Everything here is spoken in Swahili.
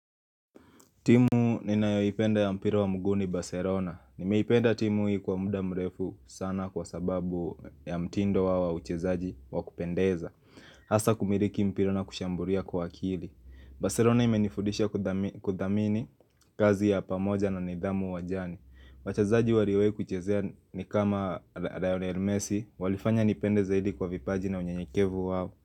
Timu ninayopenda ya mpira wa mguu ni Barcelona. Nimeipenda timu hii kwa muda mrefu sana kwa sababu ya mtindo wao wa uchezaji wa kupendeza. Hasa kumiliki mpira na kushambulia kwa akili. Barcelona imenifundisha kudhamini kazi ya pamoja na nidhamu uwanjani. Wachazaji waliowahi kuchezea ni kama Lionel Messi. Walifanya nipende zaidi kwa vipaji na unyenyekevu wao.